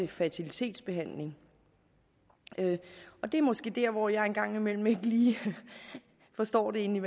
fertilitetsbehandling og det er måske der hvor jeg en gang imellem ikke lige forstår inde